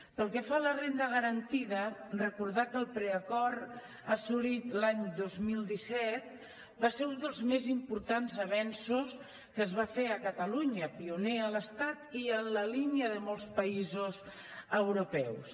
pel que fa a la renda garantida recordar que el preacord assolit l’any dos mil disset va ser un dels més importants avenços que es van fer a catalunya pioner a l’estat i en la línia de molts països europeus